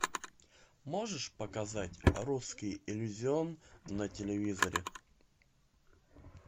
можешь показать русский иллюзион на телевизоре